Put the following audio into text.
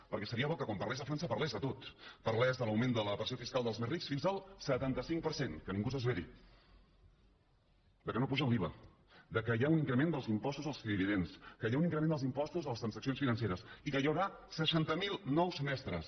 perquè seria bo que quan parlés de frança parlés de tot parlés de l’augment de la pressió fiscal dels més rics fins al setanta cinc per cent que ningú s’esveri que no apugen l’iva que hi ha un increment dels impostos als dividends que hi ha un increment dels impostos a les transaccions financeres i que hi haurà seixanta mil nous mestres